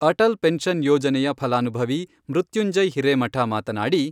Atal pension ಯೋಜನೆಯ ಫಲಾನುಭವಿ ಮೃತ್ಯುಂಜಯ್ ಹಿರೇಮಠ ಮಾತನಾಡಿ,